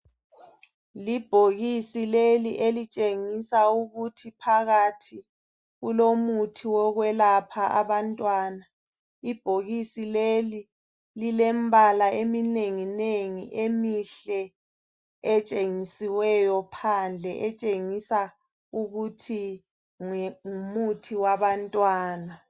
Ibhokisi leli elitshengisa ukuthi phakathi kulomuthi wokwelapha abantwana. Ibhokisi leli lilembala eminenginengi emihle etshengisiweyo phandle etshengisa ukuthi ngumuthi wabantwana.